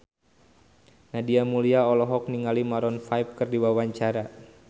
Nadia Mulya olohok ningali Maroon 5 keur diwawancara